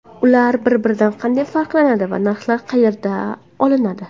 Ular bir-biridan qanday farqlanadi va narxlar qayerdan olinadi?